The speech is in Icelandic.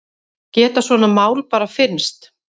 Geta svona mál bara fyrnst?